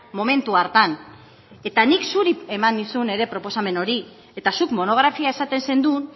momentu hartan eta nik zuri eman nizun ere proposamen hori eta zuk monografia esaten zenuen